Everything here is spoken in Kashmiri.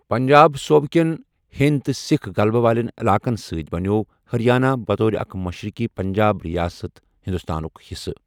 پنجاب صوٗبہٕ كین ہیندِ تہٕ سِكھ غلبہٕ والین علاقن سٕتی بنِیوو ہریانہٕ، بطور اكھ مشرقی پنجاب رِیاست ، ہِندوستانٗك حِصہٕ ۔